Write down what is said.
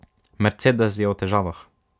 Mercedes je v težavah.